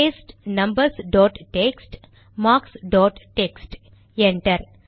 paste numbers dot text marks dot text enter